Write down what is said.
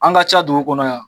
An ka ca dugu kɔnɔ yan